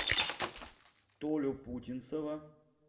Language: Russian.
толю путинцева